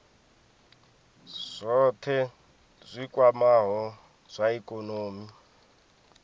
zwohe zwi kwamaho zwa ikonomi